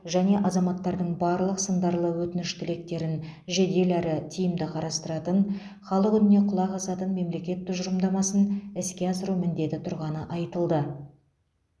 және азаматтардың барлық сындарлы өтініш тілектерін жедел әрі тиімді қарастыратын халық үніне құлақ асатын мемлекет тұжырымдамасын іске асыру міндеті тұрғаны айтылды